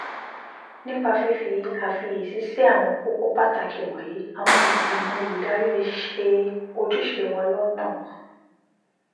nípa fífi àfiyèsí sí àwọn kókó pàtàkì wọ̀nyí àwọn ìgbìmọ̀ olùdarí lè ṣe ojúṣe wọn lọ́nà